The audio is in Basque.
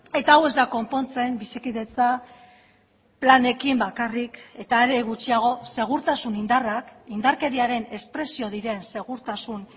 eta hau ez da konpontzen bizikidetza planekin bakarrik eta are gutxiago segurtasun indarrak indarkeriaren espresio diren segurtasun